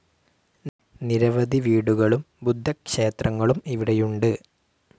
നിരവധി വീടുകളും ബുദ്ധക്ഷേത്രങ്ങളും ഇവിടെയുണ്ട്.